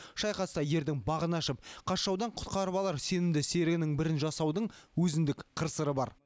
шайқаста ердің бағын ашып қас жаудан құтқарып алар сенімді серігінің бірін жасаудың өзіндік қыр сыры бар